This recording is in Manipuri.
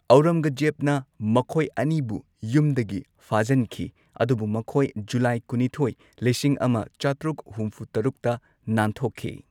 ꯑꯧꯔꯪꯒꯖꯦꯕꯅ ꯃꯈꯣꯢ ꯑꯅꯤꯕꯨ ꯌꯨꯝꯗꯒꯤ ꯐꯥꯖꯟꯈꯤ ꯑꯗꯨꯕꯨ ꯃꯈꯣꯏ ꯖꯨꯂꯥꯏ ꯀꯨꯟꯅꯤꯊꯣꯏ, ꯂꯤꯁꯤꯡ ꯑꯃ ꯆꯥꯇ꯭ꯔꯨꯛ ꯍꯨꯝꯐꯨ ꯇꯔꯨꯛ ꯇ ꯅꯥꯟꯊꯣꯛꯈꯤ꯫